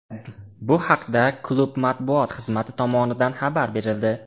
Bu haqda klub matbuot xizmati tomonidan xabar berildi .